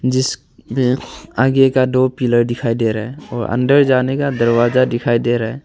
जिस में आगे का दो पिलर दिखाई दे रहा है और अंदर जाने का दरवाजा दिखाई दे रहा है।